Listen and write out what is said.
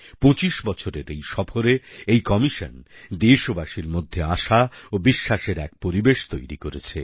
পঁচিশ বছরের এই সফরে এই কমিশন দেশবাসীর মধ্যে আশা ও বিশ্বাসের এক পরিবেশ তৈরি করেছে